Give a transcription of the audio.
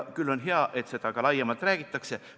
Küll on hea, et sellest ka laiemalt räägitakse.